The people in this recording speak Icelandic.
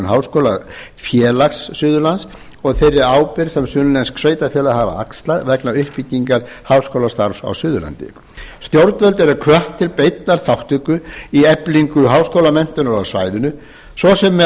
í undirbúningi stofnunar háskólafélags suðurlands og þeirri ábyrgð sem sunnlensk sveitarfélög hafa axlað vegna uppbyggingar háskólastarfs á suðurlandi stjórnvöld eru hvött til beinnar þátttöku í eflingu háskólamenntunar á svæðinu ss með